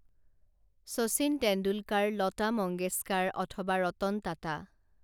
শচীন তেণ্ডুলকাৰ লতা মংগেশকাৰ অথবা ৰতন টাটা